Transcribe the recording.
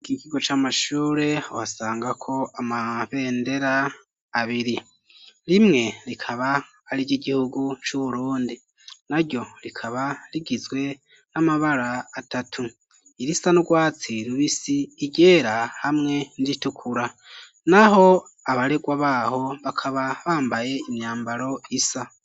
Ikigo c'amashure uhasangako amabendera abiri. Rimwe rikaba ari iry'igihugu c'Uburundi. Naryo rikaba rigizwe n'amabara atatu: irisa n'urwatsi rubisi, iryera hamwe n'iritukura. Naho abaregwa baho bakaba bambaye imyambaro isa.